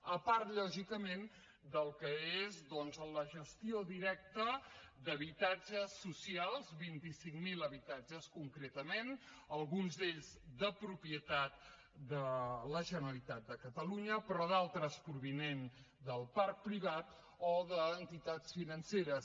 a part lògicament del que és doncs la gestió directa d’habitatges socials vint cinc mil habitatges concretament alguns d’aquests de propietat de la generalitat de catalunya però d’altres provinents del parc privat o d’entitats financeres